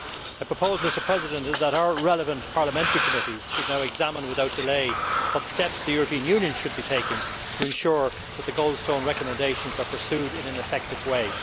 I propose that our relevant parliamentary committees should now examine without delay what steps the European Union should be taking to ensure that the Goldstone recommendations are pursued in an effective way.